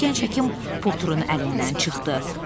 Birdən gənc həkim Poturun əlindən çıxdı.